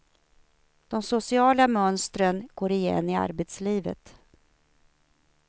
De sociala mönstren går igen i arbetslivet.